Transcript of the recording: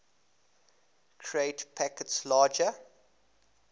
create packets larger